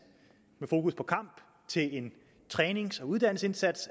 med fokus på kamp til en trænings og uddannelsesindsats